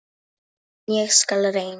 En ég skal reyna.